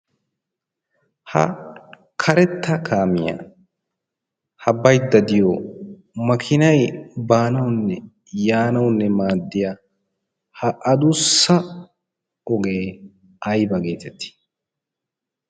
Ha karetta kaamiyaa ha baydda de'iyo makinay baanawu yaanawunne maaddiya ha adussa ogee ayba geetetti?